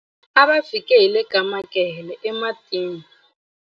a va fike hi le ka makhehele ematini